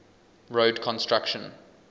road construction